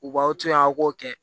U b'aw to yen aw k'o kɛ